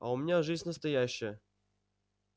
а у меня жизнь настоящая